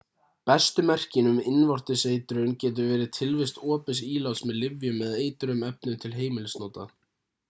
bestu merkin um innvortis eitrun getur verið tilvist opins íláts með lyfjum eða eitruðum efnum til heimilisnota